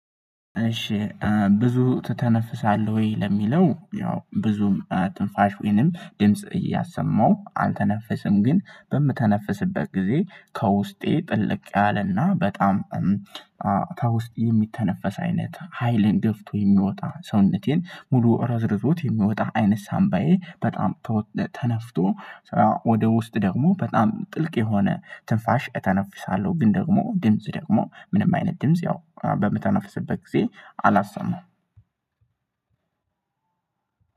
እሺ ብዙ ትተነፍሳለህ ወይ? ለሚለው ያው ብዙም ትንፋሽ ወይንም ድምጽ እያሰማው አልተነፍስም ግን በምተነፍስበት ጊዜ ከውስጤ ጥልቅ ያለና በጣም ከውስጥ የሚተነፈስ አይነት ሀይልን ገፍቶ የሚወጣ ሰውነቴን ሙሉ ረዝርዞት የሚወጣ አይነት ሳንባዬ በጣም ተነፍቶ ወደ ውስጥ ደግሞ በጣም ጥልቅ የሆነ ትንፋሽ እተነፍሳለሁ። ግን ደግሞ ድምጽ ደግሞ ምንም አይነት ድምጽ ያው በምተነፍስበት ጊዜ አላሰማም።